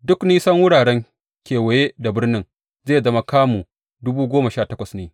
Duk nisan wurare kewaye da birnin zai zama kamu dubu goma sha takwas ne.